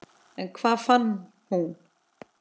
En hvað fann hún?